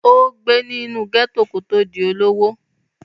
ó gbé nínú gẹ́tò kó tó di olówó